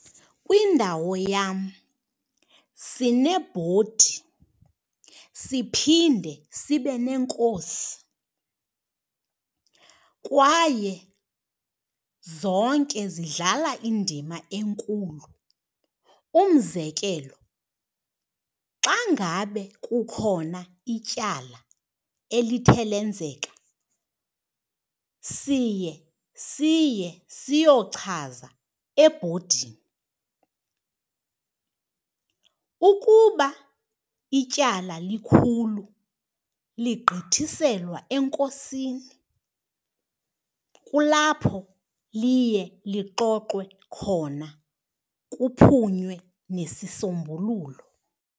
Kwindawo yam sinebhodi siphinde sibeneenkosi kwaye zonke zidlala indima enkulu. Umzekelo xa ngabe kukhona ityala elithe lenzeka siye siye siyochaza ebhodini. Ukuba ityala likhulu ligqithiselwa enkosini, kulapho liye lixoxwe khona kuphunywe nesisombululo.